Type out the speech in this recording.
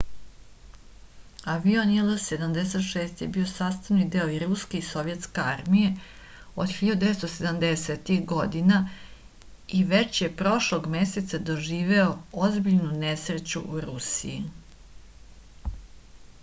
avion il-76 je bio sastavni deo i ruske i sovjetske armije od 1970-ih godina i već je prošlog meseca doživeo ozbiljnu nesreću u rusiji